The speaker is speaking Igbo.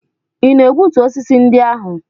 Ị na-egbutu osisi ndị ahụ?